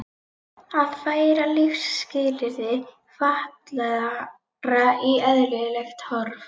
Að færa lífsskilyrði fatlaðra í eðlilegt horf.